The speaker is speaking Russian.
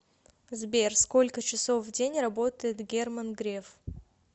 сбер сколько часов в день работает герман греф